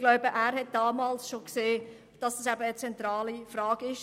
Ich glaube, Grossrat Studer sah schon damals, dass das eine zentrale Frage ist.